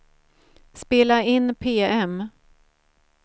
spela in PM